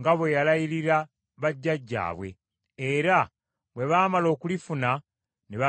nga bwe yalayirira bajjajjaabwe, era bwe baamala okulifuna ne babeera omwo.